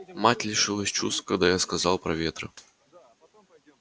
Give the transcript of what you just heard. мать лишилась чувств когда я сказала про ветры